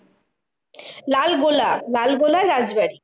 লালগোলা লালগোলার রাজবাড়ী।